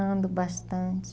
Ando bastante.